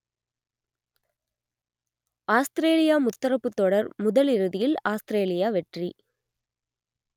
Australia முத்தரப்புத் தொடர் முதல் இறுதியில் ஆஸ்திரேலியா வெற்றி